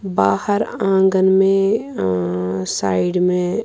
.بہار آنگن مے آ سائیڈ مے